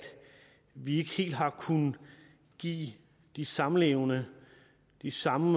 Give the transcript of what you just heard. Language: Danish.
vi ikke helt har kunnet give de samlevende de samme